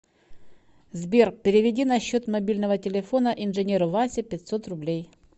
сбер переведи на счет мобильного телефона инженеру васе пятьсот рублей